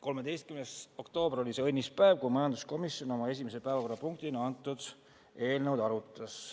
13. oktoober oli see õnnis päev, kui majanduskomisjon esimese päevakorrapunktina seda eelnõu arutas.